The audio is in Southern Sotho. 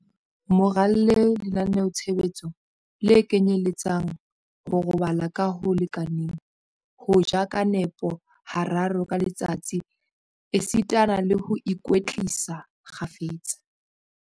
Mo ralle lenaneo-tshebetso le kenyeletsang, ho robala ka ho lekaneng, ho ja ka nepo hararo ka letsatsi esitana le ho ikwetlisa kgafetsa.